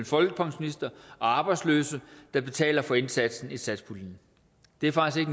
folkepensionister og arbejdsløse der betaler for indsatsen i satspuljen det er faktisk